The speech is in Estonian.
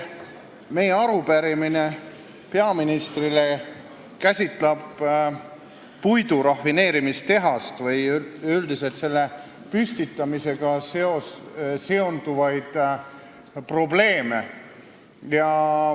Meie arupärimine peaministrile käsitleb puidurafineerimistehast või üldiselt selle püstitamisega seonduvaid probleeme.